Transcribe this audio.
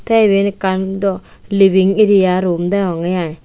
te eban ekkan dow leaving area room degongey aai.